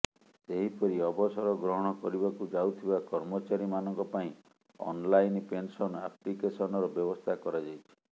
ସେହିପରି ଅବସର ଗ୍ରହଣ କରିବାକୁ ଯାଉଥିବା କର୍ମଚାରୀମାନଙ୍କ ପାଇଁ ଅନ୍ ଲାଇନ୍ ପେନସନ ଆପ୍ଲିକେସନର ବ୍ୟବସ୍ଥା କରାଯାଇଛି